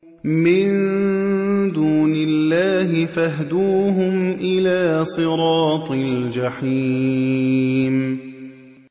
مِن دُونِ اللَّهِ فَاهْدُوهُمْ إِلَىٰ صِرَاطِ الْجَحِيمِ